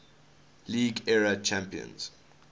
league era champions